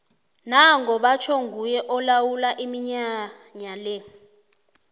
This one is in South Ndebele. nango batjho nguye olawula iminyanya le